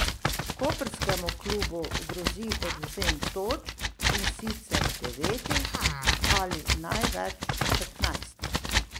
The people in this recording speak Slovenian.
Koprskemu klubu grozi odvzem točk, in sicer devetih ali največ petnajstih.